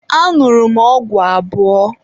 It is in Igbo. Añụrụ m ọgwụ abụọ.